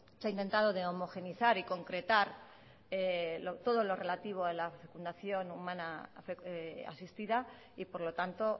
se ha inventado de homogeneizar y concretar todo lo relativo a la fecundación humana asistida y por lo tanto